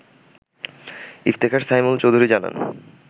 ইফতেখার সাইমুল চৌধুরী জানান